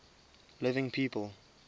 living people